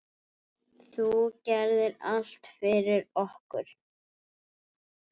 Þú gerðir allt fyrir okkur.